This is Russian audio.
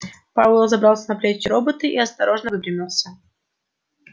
пауэлл забрался на плечи робота и осторожно выпрямился